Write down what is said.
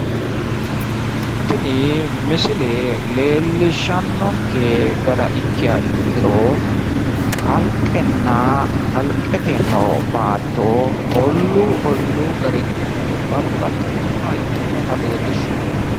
tini misile leellishshannonke gara ikkiha ikkiro kalqenna kalqete noo battoo olluu olluu garinni babbaxxitinnoha ikkinota leellishshanno